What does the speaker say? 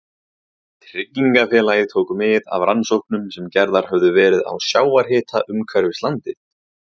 Tryggingafélagið tók mið af rannsóknum sem gerðar höfðu verið á sjávarhita umhverfis landið.